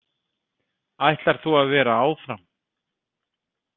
Ætlar þú að vera áfram?